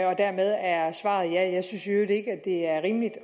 og dermed er svaret ja jeg synes i øvrigt ikke det er rimeligt